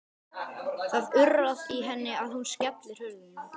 Það urrar í henni og hún skellir hurðum.